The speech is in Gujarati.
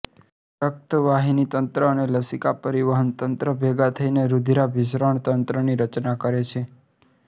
રક્તવાહિની તંત્ર અને લસિકા પરિવહન તંત્ર ભેગા થઇને રુધિરાભિસરણ તંત્રની રચના કરે છે